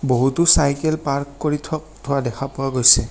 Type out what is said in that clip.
বহুতো cycle park কৰি থ-থোৱা দেখা পোৱা গৈছে।